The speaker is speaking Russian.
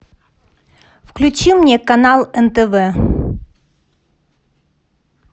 включи мне канал нтв